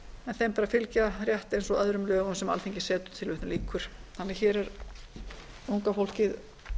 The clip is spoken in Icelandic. en þeim ber að fylgja rétt eins og öðrum lögum sem alþingi setur hér er unga fólkið